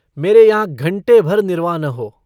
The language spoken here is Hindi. मेरे यहाँ घण्टे भर निर्वाह न हो।